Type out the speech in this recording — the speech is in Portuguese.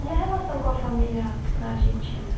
E a relação com a família na Argentina?